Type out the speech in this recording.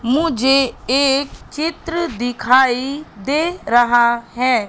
मुझे एक चित्र दिखाई दे रहा है।